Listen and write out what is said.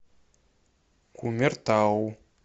кумертау